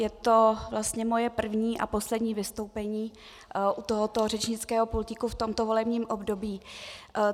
Je to vlastně moje první a poslední vystoupení u tohoto řečnického pultíku v tomto volebním období.